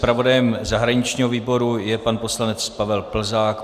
Zpravodajem zahraničního výboru je pan poslanec Pavel Plzák.